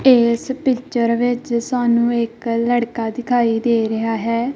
ਇਸ ਪਿਚਰ ਵਿੱਚ ਸਾਨੂੰ ਇੱਕ ਲੜਕਾ ਦਿਖਾਈ ਦੇ ਰਿਹਾ ਹੈ।